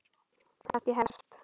Það kannski hefst.